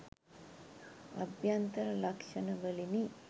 අභ්‍යන්තර ලක්ෂණවලිනි.